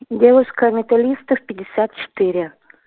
девушка металлистов пятьдесят четыре